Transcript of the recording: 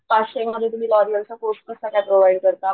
पाचशे मध्ये तुम्ही लॉरिअल चा कोर्स कसा काय प्रोव्हाइड करता,